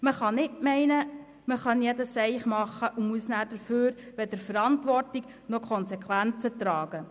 Man muss nicht meinen, man könne jeden Blödsinn machen und brauche nachher weder Verantwortung noch Konsequenzen zu tragen.